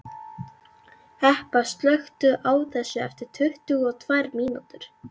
Hebba, slökktu á þessu eftir tuttugu og tvær mínútur.